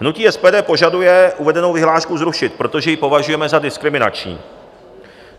Hnutí SPD požaduje uvedenou vyhlášku zrušit, protože ji považujeme za diskriminační.